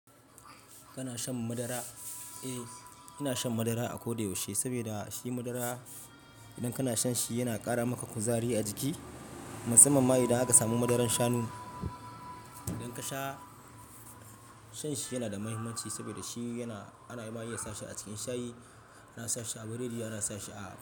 Kana shan madara? Eh"ina shan madara ako dayauhe, sabida shi madara idan kana shanshi yana karama maka ku zare ajiki. Musamman ma idan aka samu madaran shanu idan ka sha, shan shi yana da mahimmanci saboda shi yana, ana iya ma iya sashi a cikin shayi, ana sashi a biredi, ana sashi a.